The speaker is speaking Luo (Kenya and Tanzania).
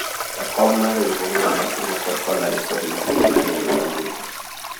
jakom mar riwruogno mar kungo kod hola nikod lesen mar riembo nyamburko